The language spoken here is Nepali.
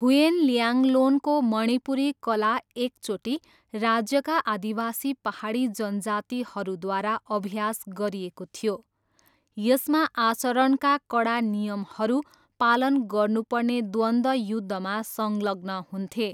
हुयेन ल्याङ्लोनको मणिपुरी कला एकचोटि राज्यका आदिवासी पाहाडी जनजातिहरूद्वारा अभ्यास गरिएको थियो, यसमा आचरणका कडा नियमहरू पालन गर्नुपर्ने द्वन्द्वयुद्धमा संलग्न हुन्थे।